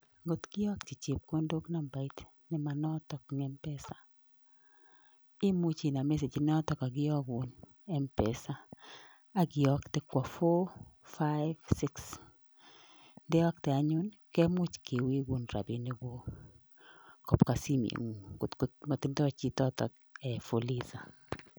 Ngot kiyokchi chepkondok nambait ne manotok eng Mpesa, imuch inam message inotok kakiyogun Mpesa akiyokte kwo four five six. Ndeyokte anyun kemuch kiwegun rabinikguk kobwa simeng'ung ngotko motindoi chichotok fuliza.